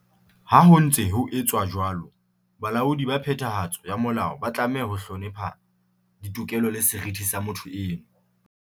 Ha ho ntse ho etswa jwalo, balaodi ba phethahatso ya molao ba tlameha ho hlonepha ditokelo le seriti sa motho eno.